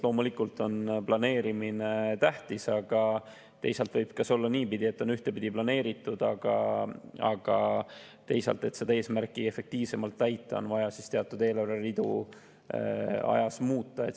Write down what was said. Loomulikult on planeerimine tähtis, aga teisalt võib olla nii, et on ühtepidi planeeritud, aga et eesmärki efektiivsemalt saavutada, on vaja teatud eelarveridu ajas muuta.